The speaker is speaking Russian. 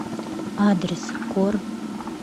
адрес кор